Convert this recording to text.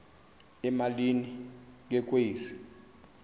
emalini ke kwezi